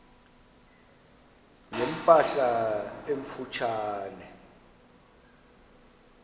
ne mpahla emfutshane